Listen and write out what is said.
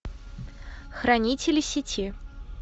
хранители сети